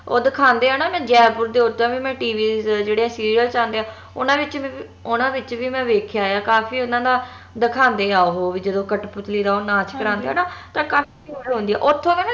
ਓਹ ਦਿਖਾਂਦੇ ਆ ਨਾ ਜੈਪੁਰ ਓਦਾਂ ਵੀ ਮੈਂ TV ਜਿਹੜੇ serials ਆਂਦੇ ਆ ਓਨਾ ਵਿਚ ਉਹਨਾਂ ਵਿਚ ਵੀ ਮੈਂ ਵੇਖਿਆ ਆ ਕਾਫੀ ਓਹਨਾ ਦਾ ਦਿਖਾਂਦੇ ਆ ਓਹੋ ਵੀ ਜਦੋ ਕਠਪੁਤਲੀ ਦਾ ਜਦੋ ਨਾਚ ਕਰਾਂਦੇ ਆ ਨਾ ਆ ਓਥੋਂ